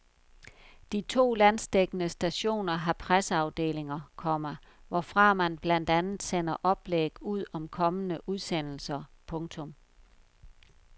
De to landsdækkende stationer har presseafdelinger, komma hvorfra man blandt andet sender oplæg ud om kommende udsendelser. punktum